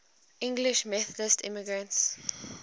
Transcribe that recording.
english methodist immigrants